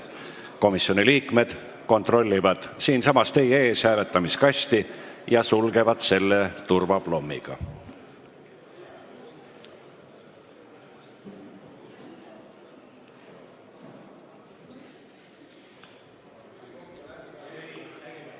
Komisjoni liikmed kontrollivad siinsamas teie ees hääletamiskasti ja sulgevad selle turvaplommiga.